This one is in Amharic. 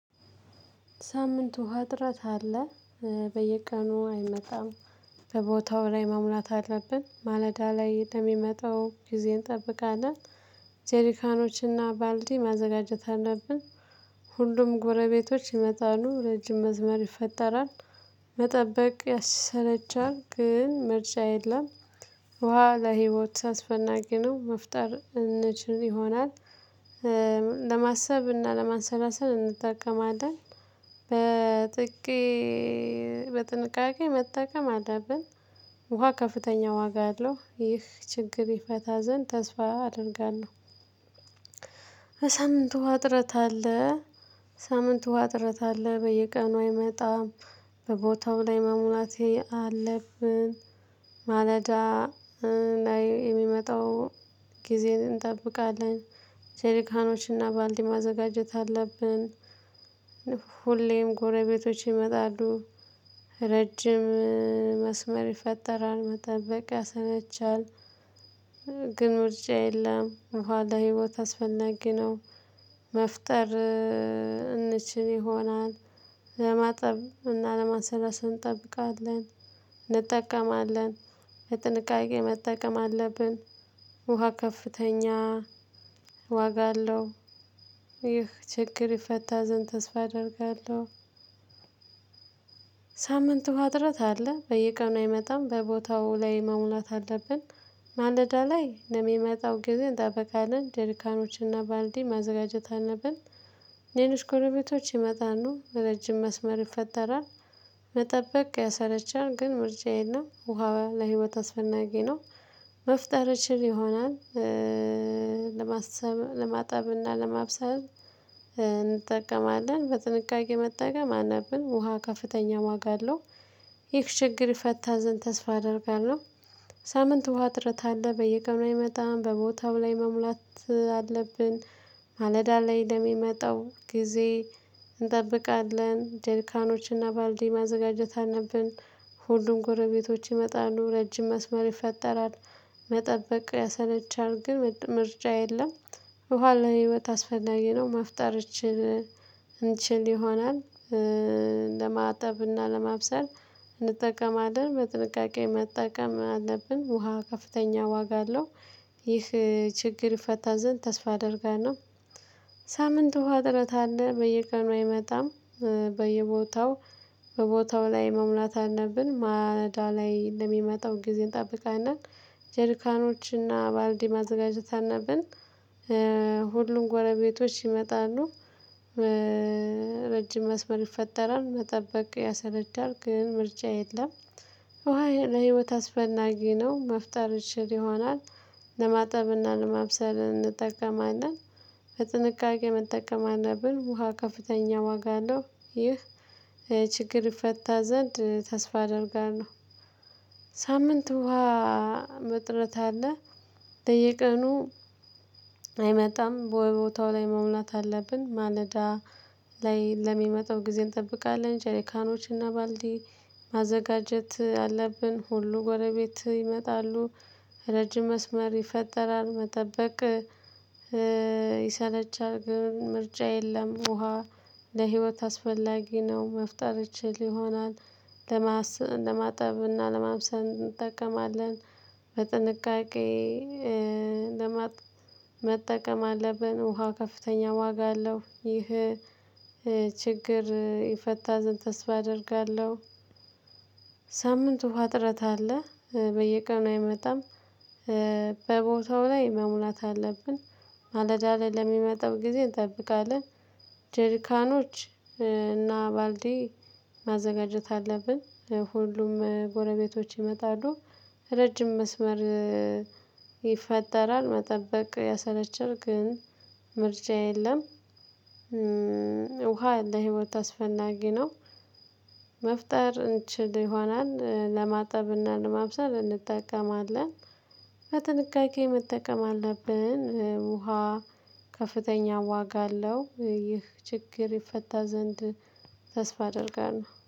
ሳምንቱ ወ እጥረት አለ በየቀኑ አይመጣም። በቦታው ላይ መሙላት አለብን ማለዳ ላይ እንደሚመጣው ጊዜ እንጠብቃለን። ጀሪካኖችና ባልዲ ማዘጋጀት አለብን። ሁሉም ጎረቤቶች ይመጣሉ ረጅም መስመር ይፈጠራል። መጠበቅ ያሰለቻል ግን ምርጫ የለም። ውሃ ለህይወት አስፈላጊ ነው። መፍጠር እንችል ይሆናል። ለማሰብ እና ለማንሰላሰል እንጠቀማለን። በጥቂት በጥንቃቄ መጠቀም አለብን። ውሃ ከፍተኛ ዋጋ አለው። ይህ ችግር ይፈታ ዘንድ ተስፋ አደርጋለሁ። በሳምንቱ እጥረት አለ። ሳምንት ውሃ ጥረት አለ በየቀኑ አይመጣም። በቦታው ላይ መሙላቴ አለብን። ማለዳ ላይ የሚመጣው ጊዜ እንጠብቃለን። ጀሊካኖችና ባልዲ ማዘጋጀት አለብን። ሁሌም ጎረቤቶች ይመጣሉ። ረጅም መስመር ይፈጠራል መጠበቅ ያሰለቻል። ግን ምርጫ የለም ኋላ ህይወት አስፈናጊ ነው። መፍጠር እንችል ይሆናል። ለማጠብ እና ለማሰረስ እንጠብቃለን እንጠቀማለን። የጥንቃቄ መጠቀም አለብን። ውሃ ከፍተኛ ዋጋ አለው። ይህ ችግር ይፈታ ዘንድ ተስፋ አደርጋለሁ። ሳምንቱ እጥረት አለ በየቀኑ አይመጣም በቦታው ላይ መሙላት አለብን። ማለዳ ላይ ለሚመጣው ጊዜ እንጠብቃለን። ጀርካኖችንና ባልዲ ማዘጋጀት አለብን። ሌሎች ጎረቤቶች ይመጣሉ ረጅም መስመር ይፈጠራል። መጠበቅ ያሰለቻል ግን ምርጫ የለም ውሃ ለህይወት አስፈናጊ ነው። መፍጠር ይችል ይሆናል። ለማጠብና ለማብሰል እንጠቀማለን። በጥንቃቄ መጠቀም አነብን። ውሃ ከፍተኛ ዋጋ አለው። ይህ ችግር ይፈታ ዘንድ ተስፋ አደርጋለሁ። ሳምንት ውሃ ጥረት አለ በየቀኑ አይመጣም በቦታው ላይ መሙላት አለብን። ማለዳ ላይ እንደሚመጣው ጊዜ እንጠብቃለን። ጀሪካኖችና ባልዲ ማዘጋጀት አነብን። ሁሉም ጎረቤቶች ይመጣሉ ረጅም መስመር ይፈጠራል። መጠበቅ ያሰለቻል ግን ምርጫ የለም። ውሃ ልህይወት አስፈላጊ ነው። መፍጠር እንችል እንችል ይሆናል። ለማጠብ እና ለማብሰል እንጠቀማለን። በጥንቃቄ መጠቀም አለብን። ውሃ ከፍተኛ ዋጋ አለው። ይህ ችግር ይፈታ ዘንድ ተስፋ አደርጋለሁ። ሳምንት ውሃ አጥረት አለ በየቀኑ አይመጣም። በየቦታው በቦታው ላይ መሙላት አለብን ማዳ ላይ ለሚመጣው ጊዜ እንጠብቃለን። ጀርካኖችና ባልዲ ማዘጋጀት አለብን። ሁሉም ጎረቤቶች ይመጣሉ። ረጅም መስመር ይፈጠራል መጠበቅ ያሰለቻል ግን ምርጫ የለም። ውሃ ለህይወት አስፈላጊ ነው። መፍጠር እንችል ይሆናል። ለማጠብና ለማብሰል እንጠቀማለን። በጥንቃቄ መጠቀም አለብን። ውሃ ከፍተኛ ዋጋ አለው። ይህ ችግር ፈታ ዘንድ ተስፋ አደርጋለሁ። ሳምንት ውሃ መጥረት አለ። በየቀኑ አይመጣም በወታው ላይ መሙላት አለብን። ማለዳ ላይ ለሚመጣው ጊዜ እንጠብቃለን። ጀሪካኖችና ባልዲ ማዘጋጀት አለብን። ሁሉ ጎረቤት ይመጣሉ። ረጅም መስመር ይፈጠራል መጠበቅ ይሰለቻል። ግን ምርጫ የለም ውሃ ለህይወት አስፈላጊ ነው። መፍጠር ይችል ይሆናል። ለማስ ለማጠብ እና ለማብሰል እንጠቀማለን። በጥንቃቄ ለመጠቀም አለብን። ውሃ ከፍተኛ ዋጋ አለው። ይህ ችግር ይፈታ ዘንድ ተስፋ አደርጋለሁ። ሳምንቱ ውሃ እጥረት አለ በየቀኑ አይመጣም። በቦታው ላይ መሙላት አለብን። ማለዳለል ለሚመጣው ጊዜ እንጠብቃለን። ጀርካኖች እና ባልዲ ማዘጋጀት አለብን። ሁሉም ጎረቤቶች ይመጣሉ። ረጅም መስመር ይፈጠራል መጠበቅ ያሰለቻል ግን ምርጫ የለም። ውሃ ለህይወት አስፈናጊ ነው። መፍጠር እንችል ይሆናል ለማጠብና ለማብሰል እንጠቀማለን። በጥንቃቄ መጠቀም አለብን። ውሃ ከፍተኛ ዋጋ አለው። ይህ ችግር ይፈታ ዘንድ ተስፋ አደርጋለሁ